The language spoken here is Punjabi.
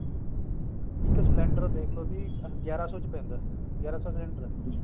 ਇੱਕ ਸਿਲੰਡਰ ਦੇਖਲੋ ਜੀ ਗਿਆਰਾ ਸੋ ਚ ਪੈਂਦਾ ਗਿਆਰਾਂ ਸੋ ਦਾ ਸਿਲੰਡਰ ਹੈ